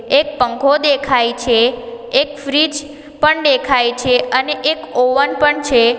એક પંખો દેખાય છે એક ફ્રીજ પણ દેખાય છે અને એક ઓવન પણ છે.